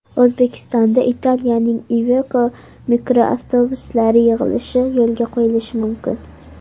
O‘zbekistonda Italiyaning Iveko mikroavtobuslari yig‘ilishi yo‘lga qo‘yilishi mumkin.